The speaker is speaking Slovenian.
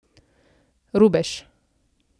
Rubež.